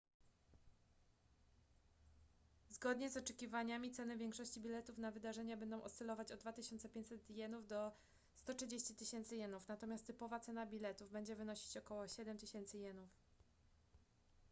zgodnie z oczekiwaniami ceny większości biletów na wydarzenia będą oscylować od 2500 jenów do 130 000 jenów natomiast typowa cena biletów będzie wynosić około 7000 jenów